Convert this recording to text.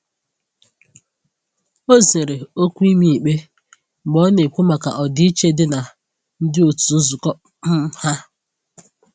O zere okwu ịma ikpe mgbe ọ na-ekwu maka ọdịiche dị na ndi otu nzukọ um ha.